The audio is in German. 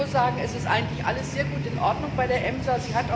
Ich muss sagen, es ist eigentlich alles sehr gut in Ordnung bei der EMSA.